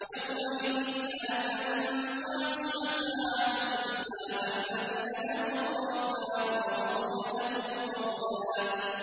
يَوْمَئِذٍ لَّا تَنفَعُ الشَّفَاعَةُ إِلَّا مَنْ أَذِنَ لَهُ الرَّحْمَٰنُ وَرَضِيَ لَهُ قَوْلًا